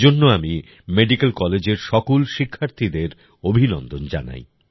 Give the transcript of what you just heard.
এজন্য আমি মেডিকেল কলেজের সকল শিক্ষার্থীদের অভিনন্দন জানাই